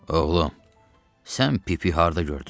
Oğlum, sən Pipi harda gördün?